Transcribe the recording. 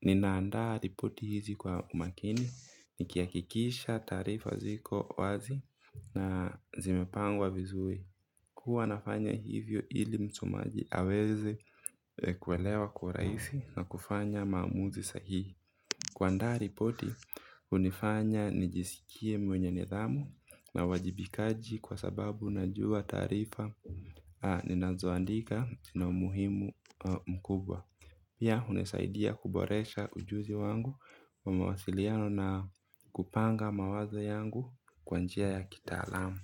Ninaandaa ripoti hizi kwa umakini, nikihakikisha taarifa ziko wazi na zimepangwa vizuri huwa nafanya hivyo ili msomaji aweze kuelewa kwa urahisi na kufanya maamuzi sahihi. Kuandaa ripoti, hunifanya nijisikie mwenye nidhamu na uajibikaji kwa sababu najua taarifa ninazoandika na umuhimu mkubwa. Pia hunisaidia kuboresha ujuzi wangu wa mawasiliano na kupanga mawazo yangu kwa njia ya kitaalamu.